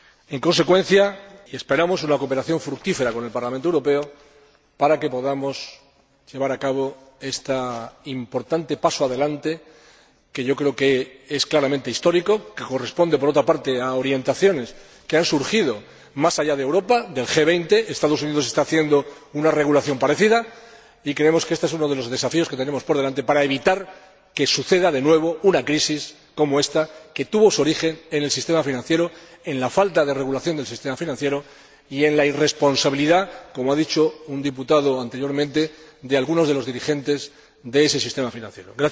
En consecuencia, esperamos una cooperación fructífera con el Parlamento Europeo para que podamos llevar a cabo este importante paso adelante, que creo es claramente histórico y corresponde, por otra parte, a orientaciones que han surgido más allá de Europa, del G20 los Estados Unidos están haciendo una regulación parecida y creemos que éste es uno de los desafíos que tenemos por delante para evitar que suceda de nuevo una crisis como ésta, que tuvo su origen en el sistema financiero, en la falta de regulación del sistema financiero y en la irresponsabilidad, como ha dicho un diputado anteriormente, de algunos de los dirigentes de ese sistema financiero.